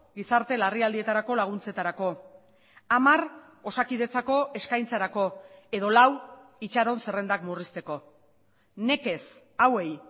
gizarte larrialdietarako laguntzetarako hamar osakidetzako eskaintzarako edo lau itxaron zerrendak murrizteko nekez hauei